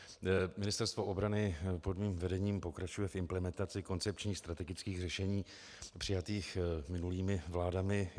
Ministerstvo obrany pod mým vedením pokračuje v implementaci koncepčních strategických řešení přijatých minulými vládami.